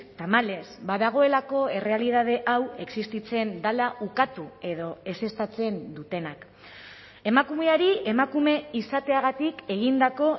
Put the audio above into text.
tamalez badagoelako errealitate hau existitzen dela ukatu edo ezeztatzen dutenak emakumeari emakume izateagatik egindako